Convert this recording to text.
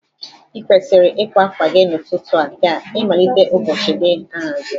I kwesiri ịkwa akwa gị n'ụtụtụ a ka ịmalite ụbọchị gị ahaziri.